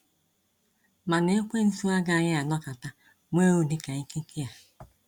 Mana ekwensu agaghị anọkata nwe ụdị ka ekike a.